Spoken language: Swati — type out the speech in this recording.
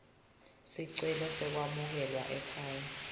sicelo sekwamukelwa ekhaya